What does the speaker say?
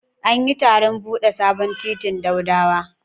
An yi taron bude sabon titin Daudawa.